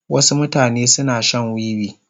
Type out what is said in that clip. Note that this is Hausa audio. Wasu mutane suna shan wiwi.